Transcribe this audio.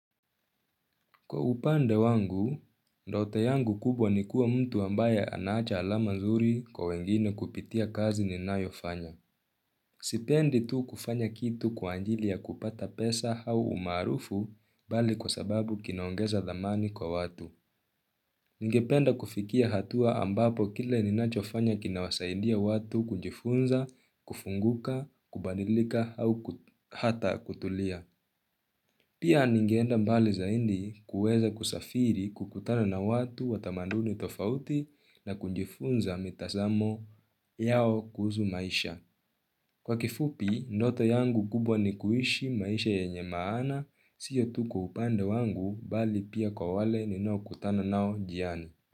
Kwa upande wangu, ndoto yangu kubwa ni kuwa mtu ambaye anacha alama nzuri kwa wengine kupitia kazi ninayofanya. Sipendi tu kufanya kitu kwa anjili kupata pesa au umarufu bali kwa sababu kinaongeza dhamani kwa watu. Ngependa kufikia hatua ambapo kile ninachofanya kinawasaidia watu kunjifunza, kufunguka, kubadilika au hata kutulia. Pia ningeenda mbali zaidi kuweza kusafiri kukutana na watu wa tamanduni tofauti na kunjifunza mitazamo yao kuhusu maisha. Kwa kifupi, ndoto yangu kubwa ni kuishi maisha yenye maana, siyo tu kwa upande wangu bali pia kwa wale ni nao kutana nao jiani.